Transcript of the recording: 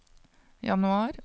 januar